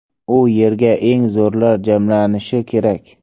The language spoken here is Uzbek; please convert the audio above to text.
U yerda eng zo‘rlar jamlanishi kerak.